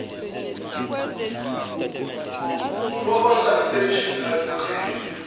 proper sanitation ayikugqizi